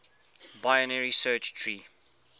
binary search tree